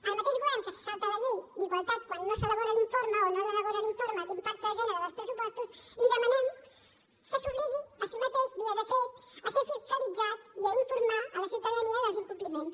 al mateix govern que se salta la llei d’igualtat quan no elabora l’informe d’impacte de gènere dels pressupostos li demanem que s’obligui a si mateix via decret a ser fiscalitzat i a informar la ciutadania dels incompliments